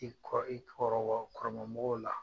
I kɔ, i kɔrɔ bɔ kɔrɔmamɔgɔw la